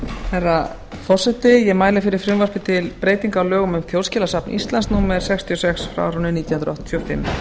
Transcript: herra forseti ég mæli fyrir frumvarpi til breytinga á lögum um þjóðskjalasafn íslands númer sextíu og sex nítján hundruð áttatíu og fimm